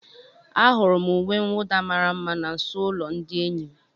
Ahụrụ m uwe mwụda mara mma na nso ụlọ ndị enyi m.